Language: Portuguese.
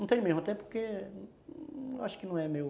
Não tenho mesmo, até porque eu acho que não é meu...